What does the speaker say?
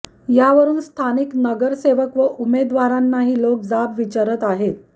यावरून स्थानिक नगरसेवक व उमेदवारांनाही लोक जाब विचारत आहेत